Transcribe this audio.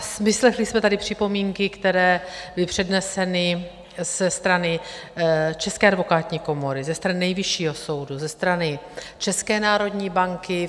Vyslechli jsme tady připomínky, které byly předneseny ze strany České advokátní komory, ze strany Nejvyššího soudu, ze strany České národní banky.